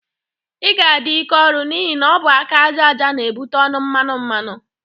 Ị ga-adị ike ọrụ n'ihi na ọ bụ aka aja aja na-ebute ọnụ mmanụ mmanụ.